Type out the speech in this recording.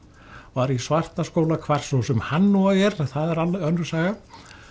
var í Svartaskóla hvar svo sem hann nú er það er önnur saga